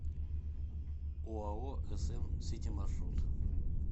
оао см сити маршрут